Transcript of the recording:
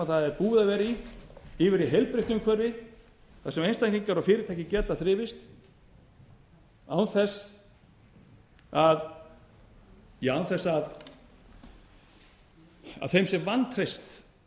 það er búið að vera í yfir í heilbrigt umhverfi þar sem einstaklingar og fyrirtæki geta þrifist án þess að þeim sé vantreyst